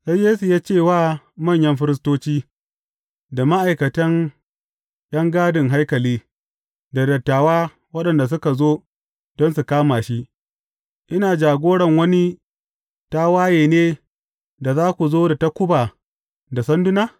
Sai Yesu ya ce wa manyan firistoci, da ma’aikatan ’yan gadin haikali, da dattawa, waɗanda suka zo don su kama shi, Ina jagoran wani tawaye ne, da za ku zo da takuba da sanduna?